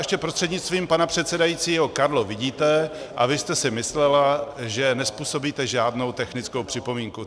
Ještě prostřednictvím pana předsedajícího Karlo, vidíte a vy jste si myslela, že nezpůsobíte žádnou technickou připomínku.